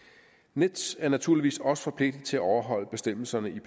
nets er naturligvis også forpligtet til at overholde bestemmelserne i